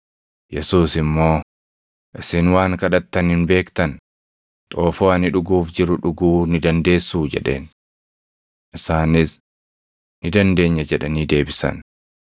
Yesuus immoo, “Isin waan kadhattan hin beektan; xoofoo ani dhuguuf jiru dhuguu ni dandeessuu?” jedheen. Isaanis, “Ni dandeenya” jedhanii deebisan.